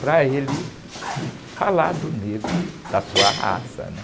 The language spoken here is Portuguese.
para ele te falar do negro, da sua raça, né?